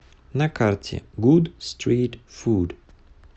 на карте гуд стрит фуд